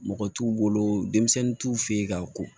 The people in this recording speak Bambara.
Mɔgɔ t'u bolo denmisɛnnin t'u fɛ ye ka ko